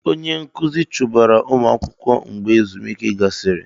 Ee! Onye nkụzi chụbara ụmụ akwụkwọ mgbe ezumike gasịrị.